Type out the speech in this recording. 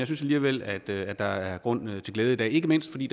synes alligevel at at der er grund til glæde i dag ikke mindst fordi